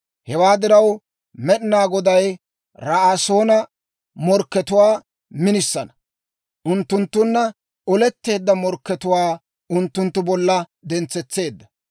Hewaa diraw, Med'inaa Goday, Ra'asoona morkkatuwaa minisana, unttunttunna oletteedda morkkatuwaa unttunttu bolla dentsetseedda.